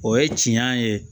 O ye tiɲɛ ye